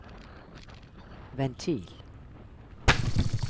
ventil